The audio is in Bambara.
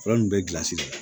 Fura nunnu bɛ gilasi de la